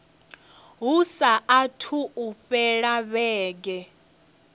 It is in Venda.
hu saathu u fhela vhege